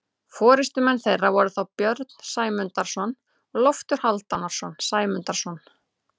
Forystumenn þeirra voru þá Björn Sæmundarson og Loftur Hálfdanarson Sæmundarsonar.